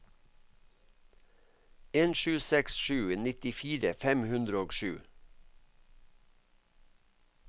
en sju seks sju nittifire fem hundre og sju